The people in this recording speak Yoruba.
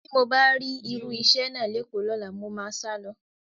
Tí mo bá rí irú iṣẹ́ náà lÉkòó lọ́la, mo máa sálọ